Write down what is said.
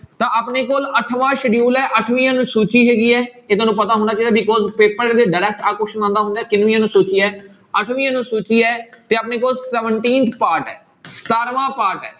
ਤਾਂ ਆਪਣੇ ਕੋਲ ਅੱਠਵਾਂ schedule ਹੈ ਅੱਠਵੀਂ ਅਨਸੂਚੀ ਹੈਗੀ ਹੈ ਇਹ ਤੁਹਾਨੂੰ ਪਤਾ ਹੋਣਾ ਚਾਹੀਦਾ because ਪੇਪਰ ਦੇ ਵਿੱਚ direct ਆਹ question ਆਉਂਦਾ ਹੁੰਦਾ ਹੈ ਕਿੰਨਵੀਂ ਅਨੁਸੂਚੀ ਹੈ ਅੱਠਵੀਂ ਅਨੁਸੂਚੀ ਹੈ, ਤੇ ਆਪਣੇ ਕੋਲ seventeenth part ਹੈ ਸਤਾਰਵਾਂ part ਹੈ।